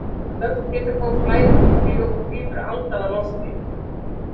Snöggt hitakóf flæðir um Júlíu og hún grípur andann á lofti.